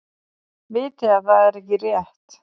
Viti að það er ekki rétt.